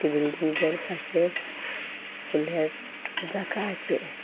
বিল্ডিংটার পাশে ফুলের টব রাখা আছে।